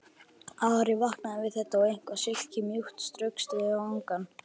Ari vaknaði við að eitthvað silkimjúkt straukst við vangann.